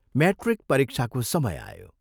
Matric परीक्षाको समय आयो।